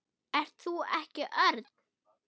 Ert þú ekki Örn?